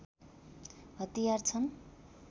हतियार छन्